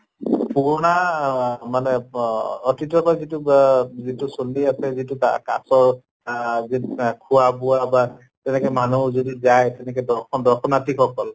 পুৰণা অহ মানে ব অতিতৰ পৰা যিটো বা যিটো চলি আছে যিটো কা কাছʼৰ আহ বিশ্বাস খোৱা বোৱা বা তেনেকে মানুহৰ যদি যায় তেনেকে দৰ্শন দৰ্শনাৰ্থি সকল